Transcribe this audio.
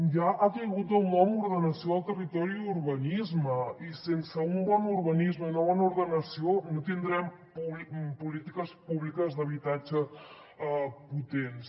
ja ha caigut del nom ordenació del territori i urbanisme i sense un bon urbanisme i una bona ordenació no tindrem polítiques públiques d’habitatge potents